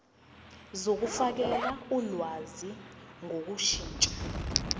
zokufakela ulwazi ngokushintsha